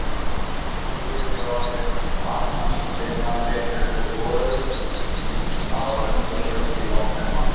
Bæði lið eru orðin varnarsinnaðri en þau voru það sunnudagskvöld í nóvembermánuði.